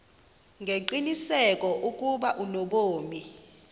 ngengqiniseko ukuba unobomi